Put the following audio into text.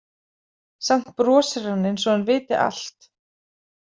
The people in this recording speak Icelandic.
Samt brosir hann, eins og hann viti allt.